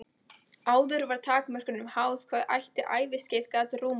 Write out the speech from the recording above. Áður var takmörkunum háð hvað eitt æviskeið gat rúmað.